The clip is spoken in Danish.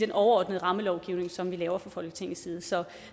overordnede rammelovgivning som vi laver fra folketingets side så